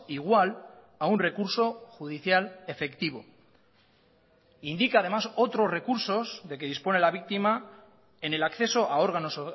igual a un recurso judicial efectivo indica además otros recursos de que dispone la víctima en el acceso a órganos